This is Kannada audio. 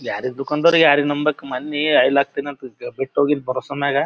ಯಾರಿಗ್ ದುಕಾನಾದವ್ರಿಗ್ ಯಾರಿಗ್ ನಂಬೆಕು ಮೊನ್ನೆ ಓಯಲ್ ಹಾಕ್ತಿನ ಅಂದ ಬ್ಬಿಟ್ ಹೋಗಿದ ಬರೊಸಮೆಗ --